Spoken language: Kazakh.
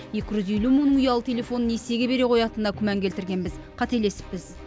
екі жүз елу мыңның ұялы телефонын несиеге бере қоятынына күмән келтіргенбіз қателесіппіз